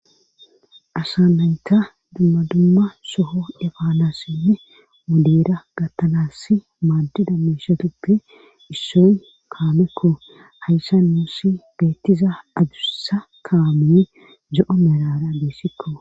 asa nayta dumma dumma soho efaanassinne wodeera gattanass maaddiza meeshatuppe issoy kaamekko hayssa nuussi beettiza adussa kaamee zo7o merara dessikko